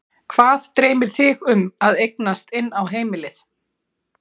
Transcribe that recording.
Hvað dreymir þig um að eignast inn á heimilið?